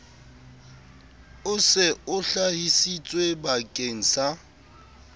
o se o hlahisitswebakeng sa